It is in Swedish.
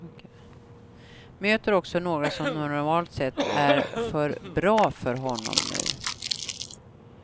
Möter också några som normalt sett är för bra för honom nu.